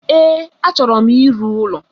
Ee, achọro m ịrụ ụlọ